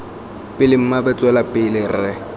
pele mmaabo tswela pele re